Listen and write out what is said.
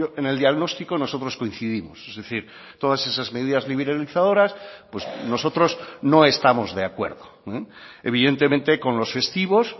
en el diagnóstico nosotros coincidimos es decir todas esas medidas liberalizadoras pues nosotros no estamos de acuerdo evidentemente con los festivos